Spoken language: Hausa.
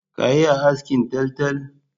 Ka iya askin taltal?